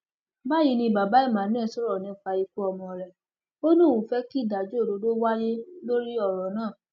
báyìí ni bàbá emmanuel sọrọ nípa ikú ọmọ rẹ ó ní òun fẹ kí ìdájọ òdodo wáyé lórí ọrọ náà